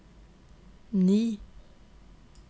ni